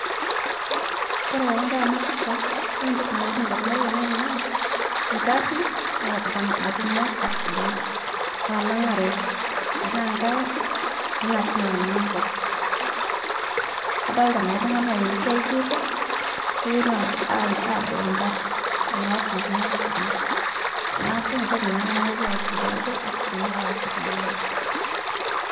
Kore tanadol ana pisha, yuolo ntoki nalotu ndamunot ainen naa nkarin nat nata natumo accident natananga'are tana nkae aari tanaa sii natanang'a nkop, kadolita naa ltung'ana euto aitururo, neponu ad aa adol nkari niari natumo accident naaku niatoki naake nalotu akili aai ajo accident nataase tene ng'oji.